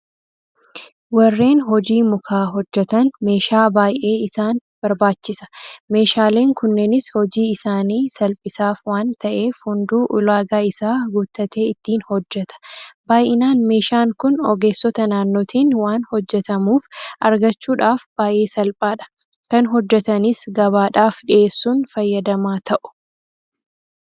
Warreen hojii mukaa hojjetan meeshaa baay'ee isaan barbaachisa. Meeshaaleen kunneenis hojii isaanii salphisaaf waanta'eef hunduu ulaagaa isaa guuttatee ittiin hojjeta. Baay'inaan meeshaan kun ogeessota naannootiin waan hojjetamuuf argachuudhaaf baay'ee salphaadha. Kan hojjetanis gabaadhaaf dhiyeessuun fayyadamaa ta'u.